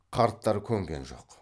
қарттар көнген жоқ